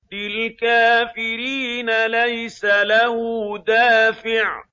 لِّلْكَافِرِينَ لَيْسَ لَهُ دَافِعٌ